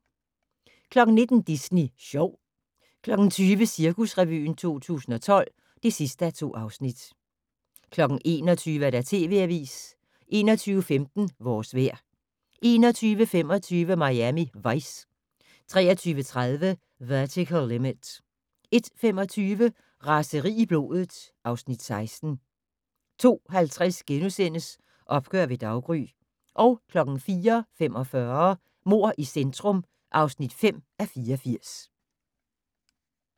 19:00: Disney Sjov 20:00: Cirkusrevyen 2012 (2:2) 21:00: TV Avisen 21:15: Vores vejr 21:25: Miami Vice 23:30: Vertical Limit 01:25: Raseri i blodet (Afs. 16) 02:50: Opgør ved daggry * 04:45: Mord i centrum (5:84)